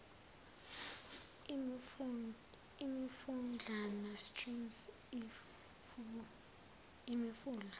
imifudlana streams imifula